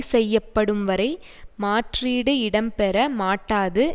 செய்யப்படும் வரை மாற்றீடு இடம்பெற மாட்டாது